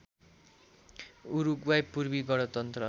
उरुग्वाइ पूर्वी गणतन्त्र